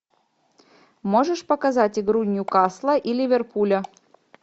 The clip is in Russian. можешь показать игру ньюкасла и ливерпуля